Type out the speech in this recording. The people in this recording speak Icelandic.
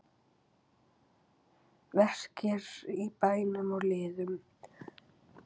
Verkir í beinum og liðum